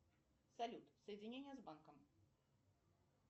салют соединение с банком